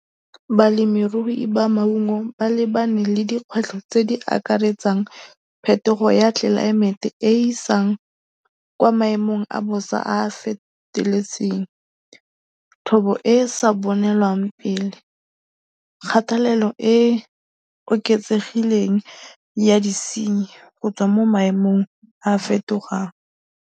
Balemirui ba maungo ba lebane le dikgwetlho tse di akaretsang phetogo ya tlelaemete e e isang kwa maemong a bosa a a feteletseng, thobo e e sa bonelwang pele, kgatelelo e e oketsegileng ya disenyi go tswa mo maemong a a fetogang.